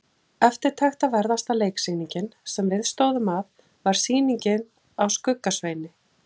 Eftirtektarverðasta leiksýningin, sem við stóðum að, var sýning á Skugga-Sveini.